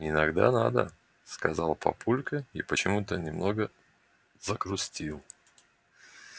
иногда надо сказал папулька и почему-то немного загрустил